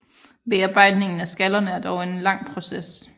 Bearbejdningen af skallerne er dog en lang proces